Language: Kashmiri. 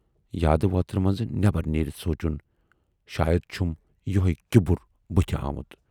یادٕ وۅترٕ منز نٮ۪برَ نیٖرِتھ سوٗنچُن"شاید چھُم یِہےَ کِبُر بُتھِ آمُت۔